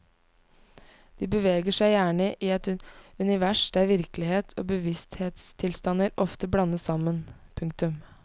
De beveger seg gjerne i et univers der virkelighet og bevissthetstilstander ofte blandes sammen. punktum